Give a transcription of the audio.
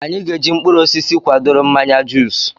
Anyị ga eji mkpụrụ osisi kwadoro mmanya juus